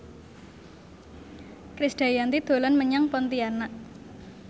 Krisdayanti dolan menyang Pontianak